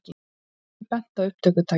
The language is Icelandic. Birkir benti á upptökutækið.